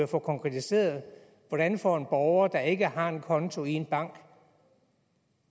få konkretiseret hvordan får en borger der ikke har en konto i en bank